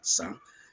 San